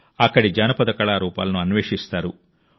అక్కడి జానపద కళారూపాలను అన్వేషిస్తారు